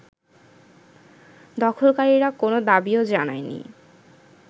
দখলকারীরা কোনো দাবিও জানায়নি